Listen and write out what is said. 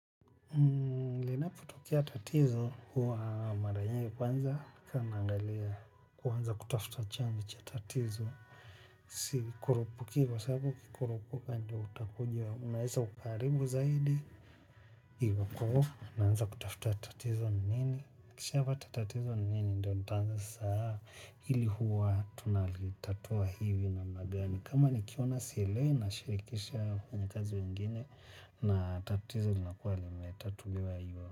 Panapotokea tatizo, huwa mara nyingi kwanza naangalia, kuanza kutafuta chanzo cha tatizo. Sikurupuki kwa sababu ukikurupuka ndio utakuja unaeza ukaharibu zaidi. Iwapo, naanza kutafuta tatizo ni nini? Nikishapata tatizo ni nini ndio nitaanza sasa hili huwa tunalitatua hivi namna gani. Kama nikiona sielewi nashirikisha wafanyakazi wengine. Na tatizo linakuwa limetatuliwa hivo.